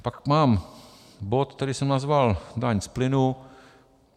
Pak mám bod, který jsem nazval daň z plynu.